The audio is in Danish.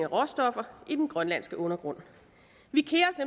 råstoffer i den grønlandske undergrund